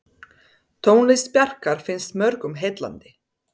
Tónlist Bjarkar finnst mörgum heillandi.